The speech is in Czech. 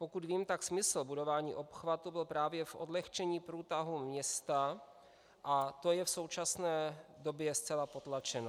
Pokud vím, tak smysl budování obchvatu byl právě v odlehčení průtahu města a to je v současné době zcela potlačeno.